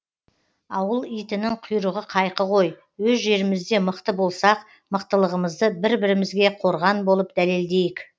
ауыл итінің құйрығы қайқы ғой өз жерімізде мықты болсақ мықтылығымызды бір бірімізге қорған болып дәлелдейік